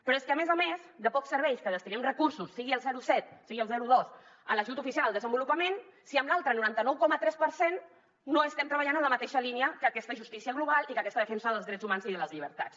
però és que a més a més de poc serveix que destinem recursos sigui el zero coma set sigui el zero coma dos en l’ajut oficial al desenvolupament si amb l’altre noranta nou coma tres per cent no estem treballant en la mateixa línia que aquesta justícia global i que aquesta defensa dels drets humans i de les llibertats